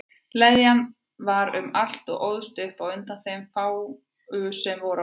Leðjan var um allt og óðst upp undan þeim fáu sem voru á ferli.